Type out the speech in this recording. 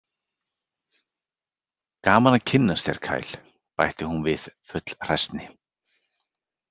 Gaman að kynnast þér, Kyle, bætir hún við full hræsni.